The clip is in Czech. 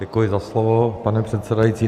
Děkuji za slovo, pane předsedající.